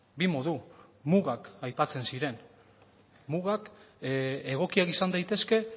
bi modu mugak aipatzen ziren mugak egokiak izan daitezke